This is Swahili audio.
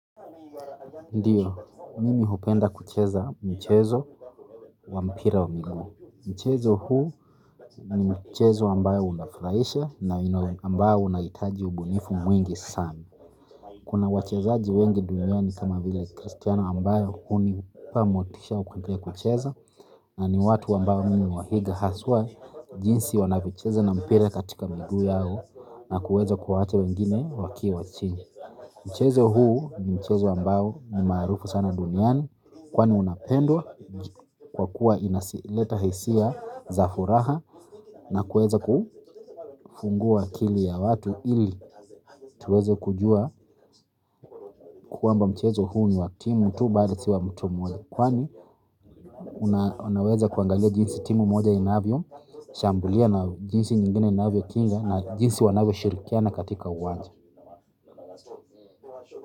Ndio, mimi hupenda kucheza mchezo wa mpira wa miguu. Mchezo huu ni mchezo ambayo unafurahisha na ambao unahitaji ubunifu mwingi sanaa kuna wachezaji wengi duniani kama vile Christiano ambaye hunipa motisha ya kucheza na ni watu ambao mimi huwaiga haswa jinsi wanyavyocheza na mpira katika miguu yao na kuweza kuwaacha wengine wakiwa chini. Mchezo huu ni mchezo ambao ni maarufu sana duniani kwani unapendwa kwa kuwa inasileta hisia za furaha na kuweza kufungua akili ya watu ili tuweze kujua kwamba mchezo huu ni wa timu tu bali si wa mtu mmoja kwani unaweza kuangalia jinsi timu moja inavyo shambulia na jinsi nyingine inavyo kinga na jinsi wanavyoshirikiana katika uwanja.